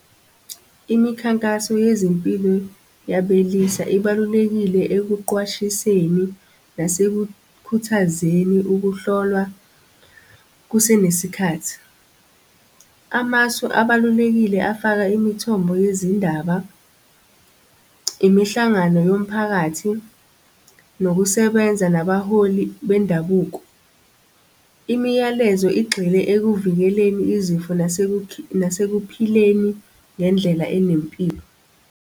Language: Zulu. Imikhankaso yezempilo yabelisa ibalulekile ekuqwashiseni nasekukhuthazeni ukuhlolwa kusenesikhathi. Amasu abalulekile afaka imithombo yezindaba, imihlangano yomphakathi, nokusebenza nabaholi bendabuko. Imiyalezo igxile ekuvikeleni izifo nasekuphileni ngendlela enempilo.